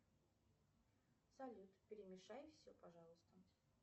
салют перемешай все пожалуйста